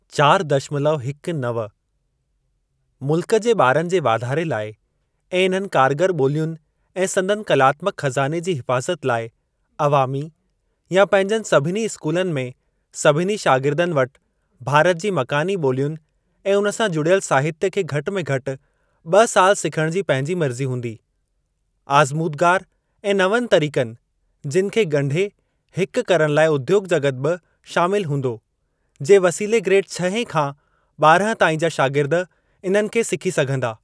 चार दशमलव हिक नव मुल्क जे ॿारनि जे वाधारे लाइ ऐं इन्हनि कारगर ॿोलियुनि ऐं संदनि कलात्मक ख़जाने जी हिफ़ाज़त लाइ अवामी या पंहिंजनि सभिनी स्कूलनि में सभिनी शागिर्दनि वटि भारत जी मकानी ॿोलियुनि ऐं उन सां जुड़ियल साहित्य खे घटि में घटि ॿ साल सिखण जी पंहिंजी मर्ज़ी हूंदी। आज़मूदगार ऐं नवनि तरीक़नि, जिनि खे गं॒ढे हिकु करण लाइ उद्योग॒ जग॒त बि शामिल हूंदो, जे वसीले ग्रेड छहें खां ॿारहं ताईं जा शागिर्द इन्हनि खे सिखी सघंदा।